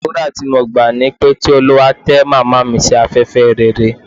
Àdúrà tí mo gbà ni wípé, kí Olúwa tẹ́ Màmá sí afẹ́fẹ́ rere.